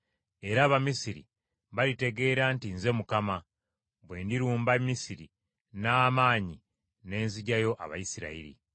Era Abamisiri balitegeera nti Nze Mukama , bwe ndirumba Misiri n’amaanyi ne nzigyayo Abayisirayiri.”